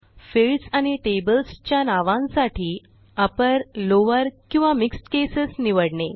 fields आणि tables च्या नावांसाठी अपर लॉवर किंवा मिक्स्ड केसेस निवडणे